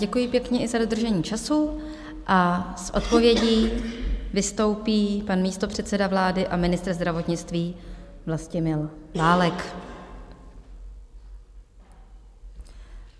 Děkuji pěkně i za dodržení času a s odpovědí vystoupí pan místopředseda vlády a ministr zdravotnictví Vlastimil Válek.